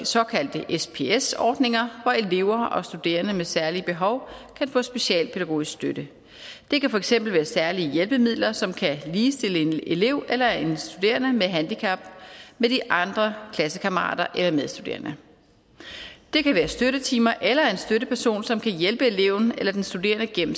såkaldte sps ordninger hvor elever og studerende med særlige behov kan få specialpædagogisk støtte det kan for eksempel være særlige hjælpemidler som kan ligestille en elev eller en studerende med handicap med de andre klassekammerater eller medstuderende det kan være støttetimer eller en støtteperson som kan hjælpe eleven eller den studerende gennem